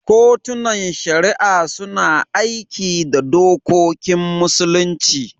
Kotunan Shari'a suna aiki da dokokin Musulunci.